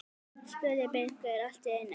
spurði Birkir allt í einu.